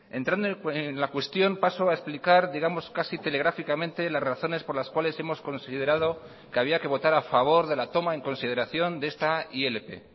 entrando en la cuestión paso a explicar digamos casi telegráficamente las razones por las cuales hemos considerado que había que votar a favor de la toma en consideración de esta ilp